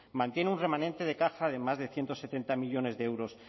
mantiene un remanente de caja de más de ciento setenta millónes de euros